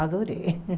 Adorei.